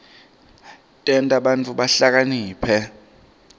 tenta bantfu bahlakaniphe